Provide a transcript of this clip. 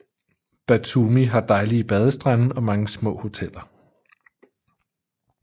Batumi har dejlige badestrande og mange små hoteller